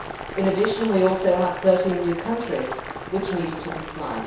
In addition, we also had 13 new countries, which needed to comply.